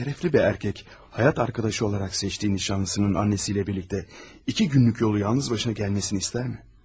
Şərəfli bir erkək həyat yoldaşı olaraq seçdiyi nişanlısının anasıyla birlikdə iki günlük yolu yalnız başına gəlməsini istərmi?